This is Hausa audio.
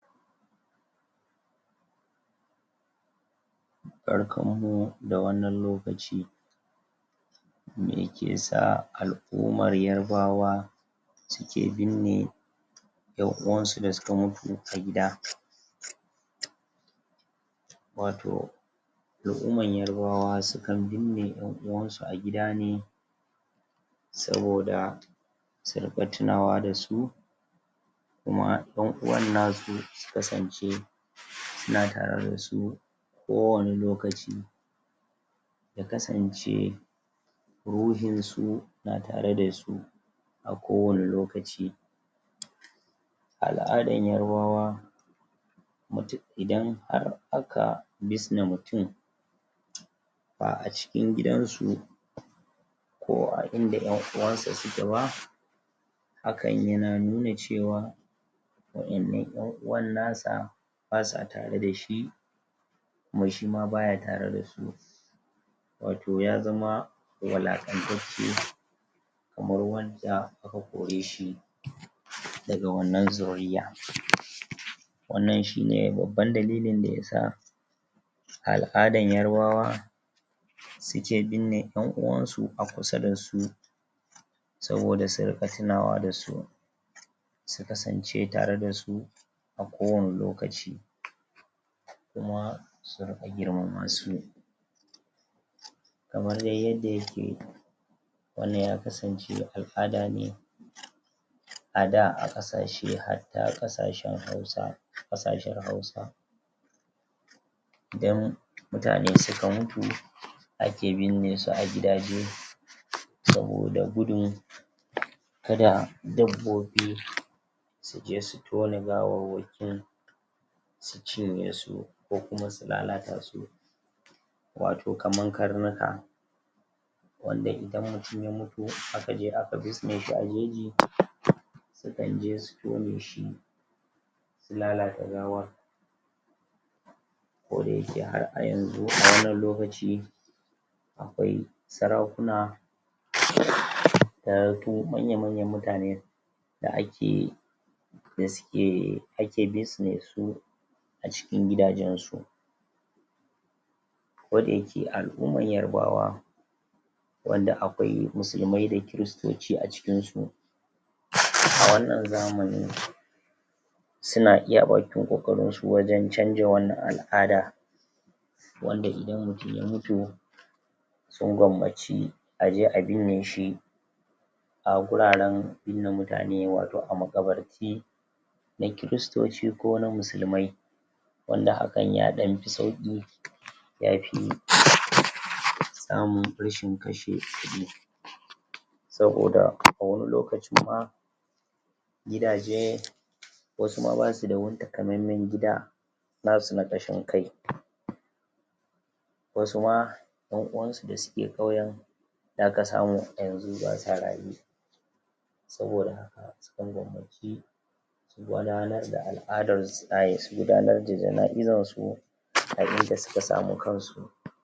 barkan mu da wannan lokaci me ke sa al'umar yarbawa suke binne 'yan uwansu da suka mutu a gida wato al'uman yarbawa sukan binne 'yan uwansu a gida ne saboda su riƙa tinawa da su kuma 'yan uwannasu su kasance suna tare da su kowane lokaci ya kasance ruhin su na tare da su a kowane lokaci al'adan yarbawa? idan har aka bisne mutum ba a cikin gidan su ko a inda 'yan uwansa suke ba hakan yana nuna cewa wa 'yannan 'yan uwannasa basa tare da shi kuma shima baya tare da su wato ya zama walaƙantacce kamar yanda aka kore shi daga wannan zuriyya..... wannan shine babban dalilin da yasa al'adan yarbawa suke binne 'yan uwansu a kusa da su saboda su riƙa tinawa da su su kasance tare da su a kowane lokaci kuma su riƙa girmama su kamar dai yadda yake wannan ya kasance al'ada ne a da a ƙasashe hadda ƙasashen hausa ƙasashen hausa idan mutane suka mutu ake binne su a gida dai saboda gudun kada dabbobi suje su tone gawawwakin su cinye su ko kuma su lalata su wato kaman karnuka wanda idan mutum ya mutu aka je aka bisne shi a jeji sukan je su tone shi su lalata gawar koda yake har a yanzu a wannan lokaci akwai sarakuna.....? ko manya manyan mutane da ake yi da suke ake bisne su a cikin gidajen su ko da yake al'umar yarbawa wanda akwai musulmai da kiristoci a cikin su ........a wannan zamani su na iya bakin ƙoƙarin su wajen canja wani al'ada wanda idan mutum ya mutu sun gwammaci aje a binne shi a guraren binne mutane wato a maƙabarti na kiristoci ko na musulmai wanda hakan ya ɗan fi sauƙi ya fi....... ɗan rashin kashe kuɗi saboda a wani lokacin ma gidaje wasu ma basu da wani takamaimen gida nasu na ƙashin kai wasu ma 'yan uwansu da suke ƙauyen zaka samu yanzu basa raye saboda sun gwammaci gudanar da al'adar su ai su gudanar da janaizar su a inda suka sami kansu